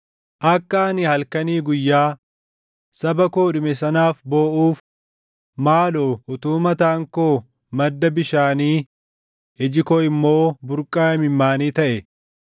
Akka ani halkanii guyyaa, saba koo dhume sanaaf booʼuuf, maaloo utuu mataan koo madda bishaanii iji koo immoo burqaa imimmaanii taʼe!